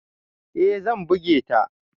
E, zan buge ta.